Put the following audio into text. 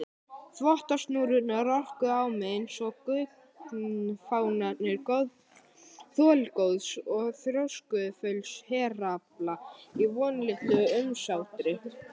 Þvottasnúrurnar orkuðu á mig einsog gunnfánar þolgóðs og þrjóskufulls herafla í vonlitlu umsátri.